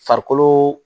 Farikolo